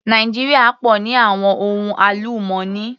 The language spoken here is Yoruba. Nàìjíríà pọ̀ ní àwọn ohun àlùmọ́nì.